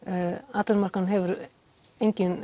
atvinnumarkaðurinn hefur engin